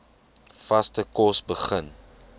vaste kos begin